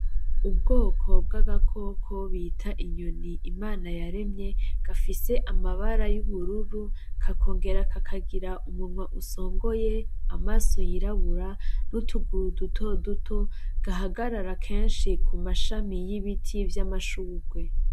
Ubwoko bw’ agakoko bita inyoni , Imana yaremye gafise amabara y’ubururu kakongera kakagira umunwa usongoye amaso yirabura n’utuguru dutoduto gahagarara kenshi ku mashami y’ibiti vy’amashurwe.